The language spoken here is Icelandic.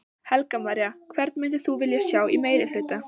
Helga María: Hvern myndir þú vilja sjá í meirihluta?